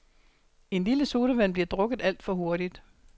En lille sodavand bliver drukket alt for hurtigt.